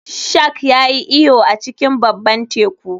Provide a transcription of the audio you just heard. Shark ya yi iyo a cikin babban teku